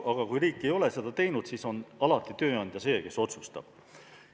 Aga kui riik ei ole seda teinud, siis on alati tööandja see, kes otsustab.